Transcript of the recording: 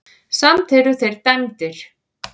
Samt eru þeir dæmdir.